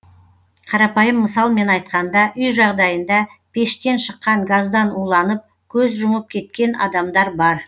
қарапайым мысалмен айтқанда үй жағдайында пештен шыққан газдан уланып көз жұмып кеткен адамдар бар